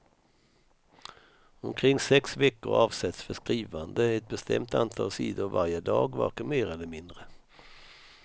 Omkring sex veckor avsätts för skrivande, ett bestämt antal sidor varje dag, varken mer eller mindre.